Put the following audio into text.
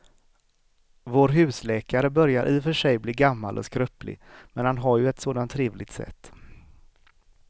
Vår husläkare börjar i och för sig bli gammal och skröplig, men han har ju ett sådant trevligt sätt!